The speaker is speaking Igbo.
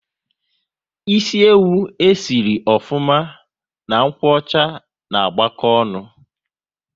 Ịsị ewu e si sịrị ofuma na nkwocha ná agbako ọṅụ